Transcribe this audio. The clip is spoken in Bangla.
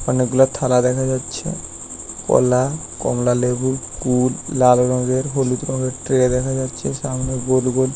অনেকগুলা থালা দেখা যাচ্ছে কলা কমলা লেবু কুল লাল রঙের হলুদ রঙের ট্রে